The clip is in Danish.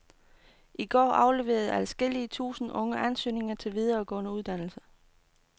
I går afleverede adskillge tusind unge ansøgninger til videregående uddannelse.